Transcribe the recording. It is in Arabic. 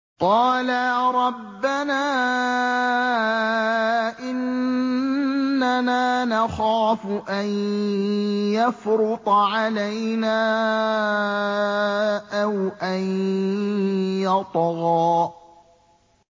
قَالَا رَبَّنَا إِنَّنَا نَخَافُ أَن يَفْرُطَ عَلَيْنَا أَوْ أَن يَطْغَىٰ